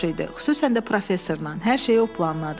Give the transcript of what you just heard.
Xüsusən də professorla, hər şeyi o planladı.